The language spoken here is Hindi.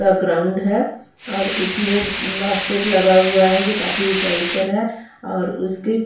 यहाँ ग्राउंड है और इसमें बास्केट लगा हुआ है जो काफी उंचाई पर है और उसकी --